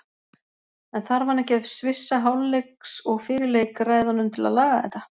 En þarf hann ekki að svissa hálfleiks og fyrir leik ræðunum til að laga þetta?